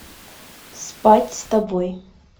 спать с тобой